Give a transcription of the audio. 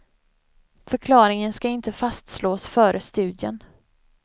Förklaringen ska inte fastslås före studien.